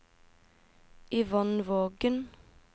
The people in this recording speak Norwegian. Yvonne Vågen